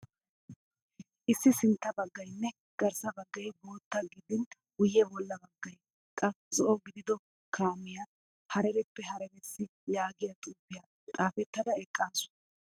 Issi sintta baggayinne garssa baggayi bootta gidin guyye bolla baggayi qa zo''o gidido kaamiyaa harareppe hararessi yaagiyaa xuupiya xaapettada eqqaasu.